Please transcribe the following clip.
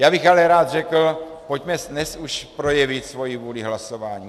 Já bych ale rád řekl, pojďme dnes už projevit svoji vůli hlasováním.